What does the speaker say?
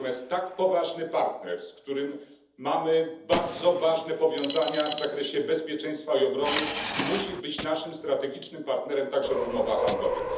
Natomiast tak poważny partner, z którym mamy bardzo ważne powiązania w zakresie bezpieczeństwa i obrony, musi być naszym partnerem strategicznym także w umowach handlowych.